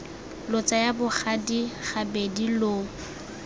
lo tsaya bogadi gabedi lo